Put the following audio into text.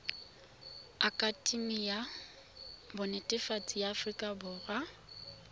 akatemi ya bonetetshi ya aforika